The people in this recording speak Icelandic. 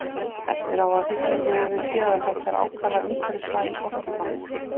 Eftir á að hyggja höfum við séð að þetta er ákaflega umhverfisvæn orkuframleiðsla.